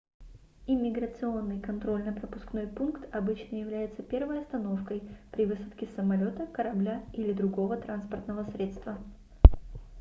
иммиграционный контрольно-пропускной пункт обычно является первой остановкой при высадке с самолёта корабля или другого транспортного средства